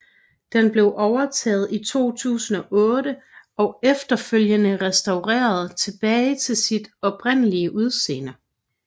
Den blev overtaget i 2008 og efterfølgende restaureret tilbage til sit oprindelige udseende